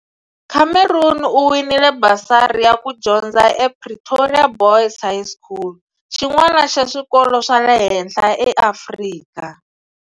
Cameron u winile basari ya ku ya dyondza ePretoria Boys' High School, xin'wana xa swikolo swa le henhla eAfrika.